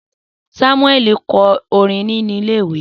Samuel kọ orin ni ile-iwe